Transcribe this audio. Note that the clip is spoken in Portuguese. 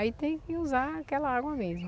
Aí tem que usar aquela água mesmo.